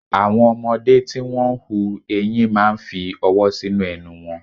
Àwọn ọmọdé tí wón ń hu ẹyin máa ń fi ọwọ́ sínú ẹnu wọn.